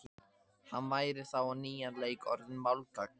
Hann væri þá á nýjan leik orðinn málgagn.